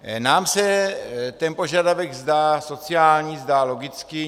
Nám se ten požadavek zdá sociální, zdá logický.